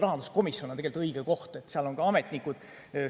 Rahanduskomisjon on tegelikult õige koht, sest seal on ka ametnikud kohal.